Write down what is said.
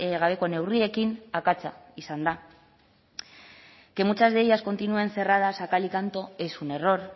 gabeko neurriekin akatsa izan da que muchas de ellas continúen cerradas a cal y canto es un error